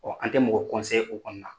an tɛ mɔgɔ o kɔni na.